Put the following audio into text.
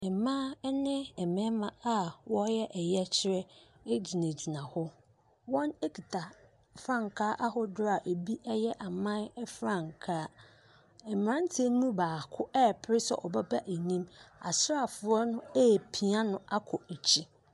Mmaa ne mmarima reyɛ yɛkyerɛ gyinagyina hɔ. Wɔkitakita frankaa ahodoɔ a ɛbi yɛ aman frankaa. Mmeranteɛ no mu baako repere sɛ ɔbeba anim. Asraafoɔ no repia no akɔ akyire.